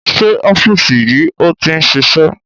Sé ọ́fíìsì yìí ni o ti ń ṣiṣẹ́?